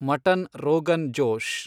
mutton rogan Josh